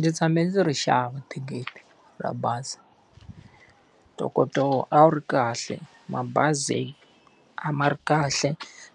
Ni tshame ndzi ri xava thikithi ra bazi. Ntokoto wona a wu ri kahle mabazi a ma ri kahle,